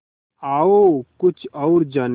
आओ कुछ और जानें